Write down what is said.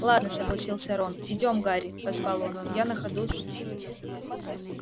ладно согласился рон идём гарри позвал он я на ходу с